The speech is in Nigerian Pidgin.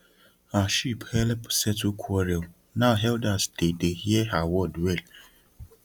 her sheep help settle quarrel now elders dey dey hear her word well